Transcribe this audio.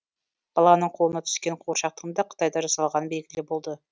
баланың қолына түскен қуыршақтың да қытайда жасалғаны белгілі болды